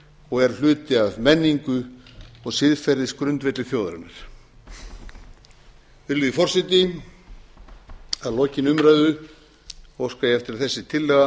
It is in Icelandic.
og er hluti af menningu og siðferðisgrundvelli þjóðarinnar virðulegi forseti að lokinni umræðu óska ég eftir að þessi